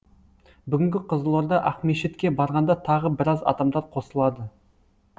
бүгінгі қызылорда ақмешітке барғанда тағы біраз адамдар қосылады